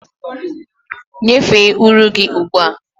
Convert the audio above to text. Nyefee uri gị ugbu a!